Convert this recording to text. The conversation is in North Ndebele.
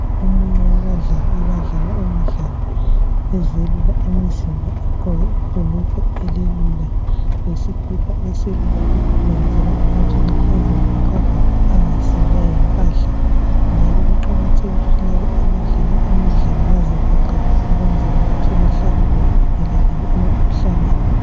Omunye wabadlali abadlala umdlalo ezelula umzimba egqoke ibhulukwe elilula lesikipa esilula lokhu kwenzalwa ukuthi nxa ezivoxavoxa angasindwa yimpahla njalo kuqakathekile ukuthi laba abadlala imidlala bazivoxavoxe ukwenzela ukuthi bahlale bevikelekile emkhuhlaneni.